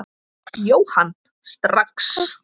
Jóhann: Strax?